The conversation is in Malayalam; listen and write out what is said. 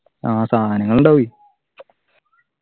ആഹ് സാനങ്ങളുണ്ടാവു എ